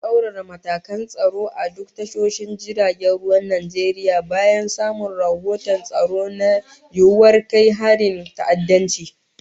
Za'a tsaurara matakan tsaro a duk tashoshin jiragen ruwan Najeriya bayan samun rahoton tsaro na yiwuwar kai harin ta'addanci